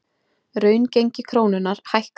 Raungengi krónunnar hækkar